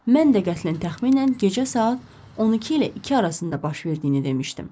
Mən də qətlin təxminən gecə saat 12 ilə 2 arasında baş verdiyini demişdim.